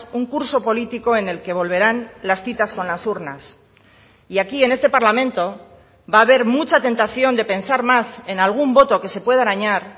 un curso político en el que volverán las citas con las urnas y aquí en este parlamento va a haber mucha tentación de pensar más en algún voto que se pueda arañar